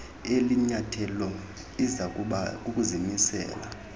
elinyathelo izakuba kukuzimisela